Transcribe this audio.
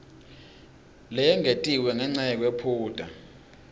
leyengetiwe ngenca yekwephuta